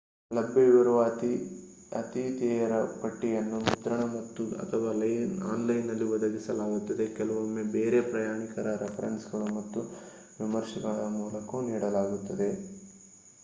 ಲಭ್ಯವಿರುವ ಆತಿಥೇಯರ ಪಟ್ಟಿಯನ್ನು ಮುದ್ರಣ ಮತ್ತು/ಅಥವಾ ಆನ್‌ಲೈನ್‌ನಲ್ಲಿ ಒದಗಿಸಲಾಗುತ್ತದೆ ಕೆಲವೊಮ್ಮೆ ಬೇರೆ ಪ್ರಯಾಣಿಕರ ರೆಫರೆನ್ಸ್‌ಗಳು ಮತ್ತು ವಿಮರ್ಶೆಗಳ ಮೂಲಕವೂ ನೀಡಲಾಗುತ್ತದೆ